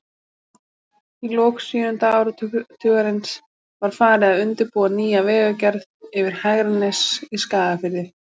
Í lok sjöunda áratugarins var farið að undirbúa nýja vegagerð yfir Hegranes í Skagafirði.